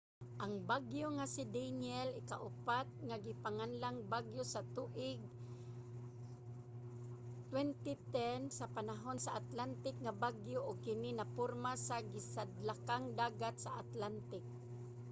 ang bagyo nga si danielle ikaupat nga ginganlang bagyo sa tuig 2010 sa panahon sa atlantic nga bagyo ug kini naporma sa sidlakang dagat sa atlantic